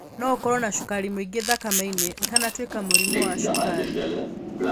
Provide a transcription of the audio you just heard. No ũkorwo na cukari mũingĩ thakame-inĩ ũtanatuĩka mũrimũ wa cukari.